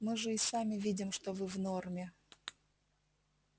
мы же и сами видим что вы в норме